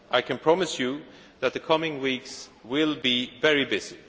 be done. I can promise you that the coming weeks will be very